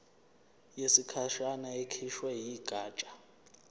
yesikhashana ekhishwe yigatsha